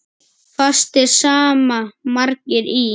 Fastir sama margir í.